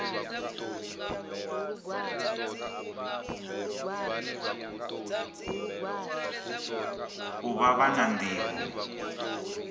u vha vha na nḓivho